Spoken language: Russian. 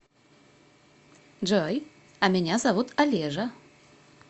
джой а меня зовут олежа